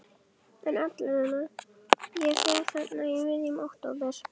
En allavega, ég fer þarna í miðjum október.